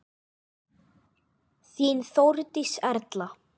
Þín Þórdís Erla.